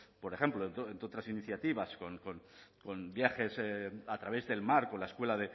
por ejemplo entre otras iniciativas con viajes a través del mar con la escuela